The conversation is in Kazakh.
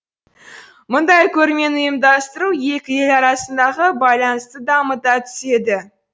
мұндай көрмені ұйымдастыру екі ел арасындағы байланысты дамыта түседі